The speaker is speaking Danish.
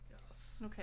Yes